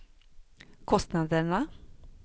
kostnaderna